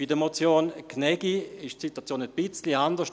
Bei der Motion Gnägi ist die Situation ein wenig anders: